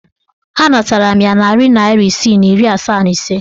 Anatara m ya narị naịra isii na iri asaa na ise.